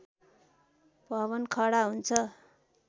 भवन खडा हुन्छ